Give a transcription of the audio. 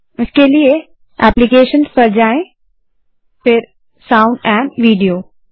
इसके लिए एप्लीकेशन पर जाएँ फिर साउंड और विडियो पर